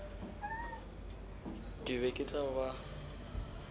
ke be ke tla ba